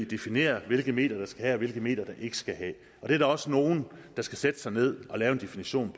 definere hvilke medier der skal have og hvilke medier der ikke skal have det er der også nogen der skal sætte sig ned og lave en definition